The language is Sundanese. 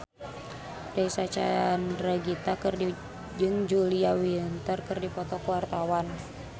Reysa Chandragitta jeung Julia Winter keur dipoto ku wartawan